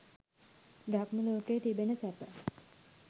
බ්‍රහ්ම ලෝකයේ තිබෙන සැප